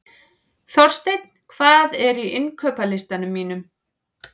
Þorsteinn, hvað er á innkaupalistanum mínum?